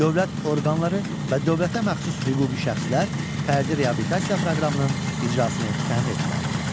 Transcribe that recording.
Dövlət orqanları və dövlətə məxsus hüquqi şəxslər fərdi reabilitasiya proqramının icrasını təmin etməlidirlər.